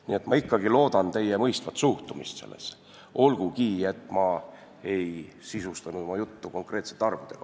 Nii et ma ikkagi loodan teie mõistvale suhtumisele, olgugi et ma ei sisustanud praegu oma juttu konkreetsete arvudega.